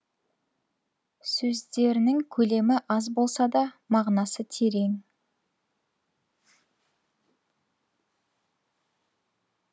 сөздерінің көлемі аз болса да мағынасы терең